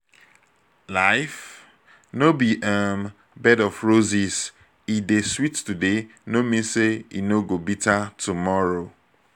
life no be um bed of roses. e dey sweet today no mean say e no go bitter tomorrow